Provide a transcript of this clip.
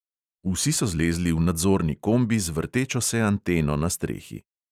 Vsi so zlezli v nadzorni kombi z vrtečo se anteno na strehi.